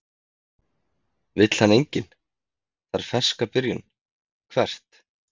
Vill hann enginn, þarf ferska byrjun Hvert?